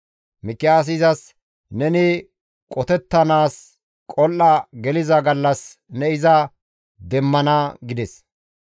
Mikiyaasi izas, «Neni qotettanaas qol7a geliza gallas ne iza demmana» gides.